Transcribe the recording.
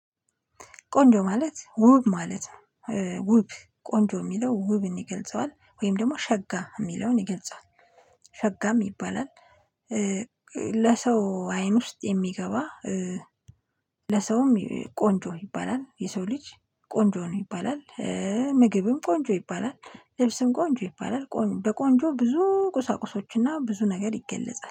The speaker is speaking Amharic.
ቆንጆ ማለት ውብ ማለት ነው ውብ ቆንጆ የሚለው ውብን ይገልጸዋል ወይም ደግሞ ሸጋ የሚለውን ይገልጻል ሸጋም ይባላል። ለሰው አይን ውስጥ የሚገባ። ለሰውም ቆንጆ ይባላል የሰው ልጅ ቆንጆ ነው ይባላል። ምግብም ቆንጆ ይባላል ልብስም ቆንጆ ይባላል በቆንጆ ብዙ ቁሳቁሶችና ብዙ ነገር ይገለጻል